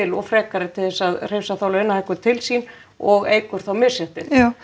og frekari til þess að hrifsa þá launahækkun til sín og eykur þá misréttið